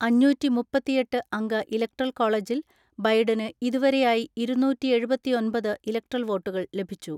അഞ്ഞൂറ്റിമുപ്പത്തിഎട്ട് അംഗ ഇലക്ട്രൽ കോളജിൽ ബൈഡന് ഇതുവരെയായി ഇരുന്നൂറ്റിഎഴുപത്തിഒൻപത് ഇലക്ട്രൽ വോട്ടുകൾ ലഭിച്ചു.